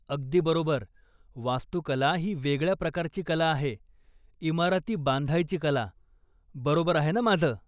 अगदी बरोबर! वास्तुकला ही वेगळ्या प्रकारची कला आहे, इमारती बांधायची कला, बरोबर आहे ना माझं?